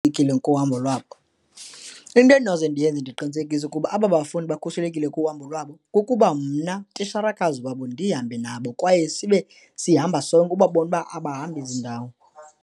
kuhambo lwabo, into endinoze ndiyenze ndiqinisekise ukuba aba bafundi bakhuselekile kuhambo lwabo kukuba mna titsharakazi wabo ndihambe nabo kwaye sibe sihamba sonke ubabone uba abahambi ezindawo.